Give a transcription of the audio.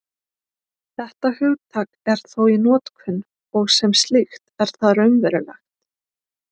Þetta hugtak er þó í notkun, og sem slíkt er það raunverulegt.